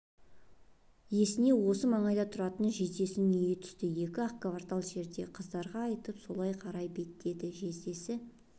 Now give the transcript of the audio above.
есіне осы маңайда тұратын жездесінің үйі түсті екі-ақ квартал жерде қыздарға айтып солай қарай беттеді жездесі